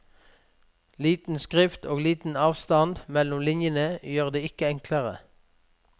Liten skrift og liten avstand mellom linjene gjør det ikke enklere.